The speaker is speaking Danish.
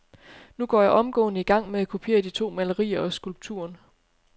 Nu går jeg omgående i gang med at kopiere de to malerier og skulpturen .